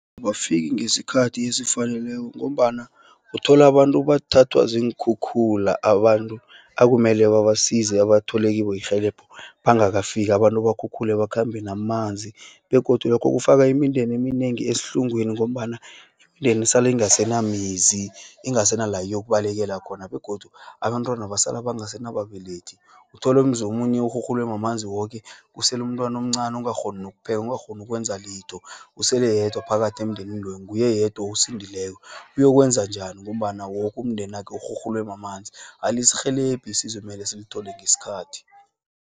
Bafiki ngeskhathi esifaneleko ngombana, uthola abantu bathathwa ziinkhukhula. Abantu akumele basize bathole kibo irhelebho bangakafiki. Abantu bakhukhule bakhambe namanzi, begodu lokho kufaka imindeni eminengi esihlungweni, ngombana iimdeni isala ingasenamizi, ingasenala yokubalekela khona, begodu abantwana basala bangasena babelethi, uthole umzomunye urhurhulwe mamanzi woke, kuselu umntwana omncani ongakghoni nokuphela, ungakghona nokwenza litho. Usele yedwa phakathi emndenini loyo, nguye yedwa osindileko. Uyokwenzanjani, ngombana woku umndenakhe urhurhulwe mamanzi. Alisirhelebhi isizo ekumele silithole ngeskhathi.